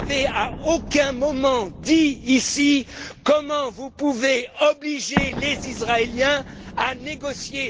À aucun moment, vous n'avez dit ici comment vous pouvez obliger les Israéliens à négocier.